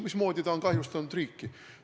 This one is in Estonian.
Mismoodi on ta kahjustanud riiki?